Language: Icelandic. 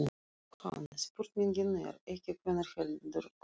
JÓHANNES: Spurningin er ekki hvenær heldur hvert.